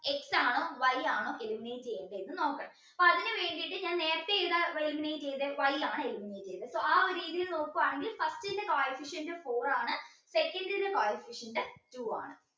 x ആണോ y ആണോ eliminate ചെയ്യണ്ടേ എന്ന് നോക്കണം അപ്പൊ അതിന് വേണ്ടീട്ട് ഞാൻ നേരത്തെ ഏതാ eliminate ചെയ്തേ y ആണ് eliminate ചെയ്തേ so ആ ഒരു രീതിയിൽ നോക്കുവാണെങ്കിൽ first ന്റെ coefficient four ആണ് second ന്റെ coefficient two ആണ്